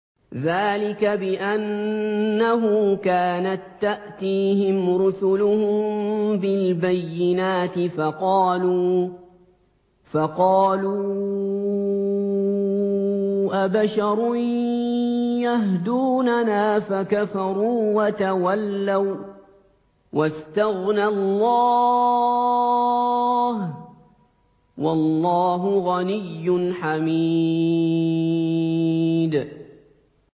ذَٰلِكَ بِأَنَّهُ كَانَت تَّأْتِيهِمْ رُسُلُهُم بِالْبَيِّنَاتِ فَقَالُوا أَبَشَرٌ يَهْدُونَنَا فَكَفَرُوا وَتَوَلَّوا ۚ وَّاسْتَغْنَى اللَّهُ ۚ وَاللَّهُ غَنِيٌّ حَمِيدٌ